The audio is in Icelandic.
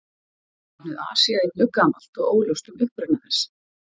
Nafnið Asía er mjög gamalt og óljóst um uppruna þess.